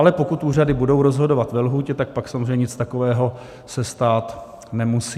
Ale pokud úřady budou rozhodovat ve lhůtě, tak pak samozřejmě nic takového se stát nemusí.